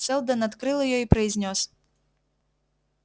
сэлдон открыл её и произнёс